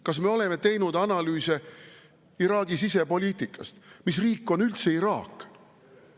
Kas me oleme analüüsinud Iraagi sisepoliitikat, mis riik on üldse Iraak?